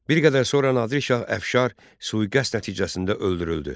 Bir qədər sonra Nadir Şah Əfşar sui-qəsd nəticəsində öldürüldü.